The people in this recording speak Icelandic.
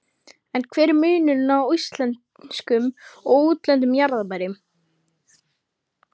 En hver er munurinn á íslenskum og útlendum jarðarberjum?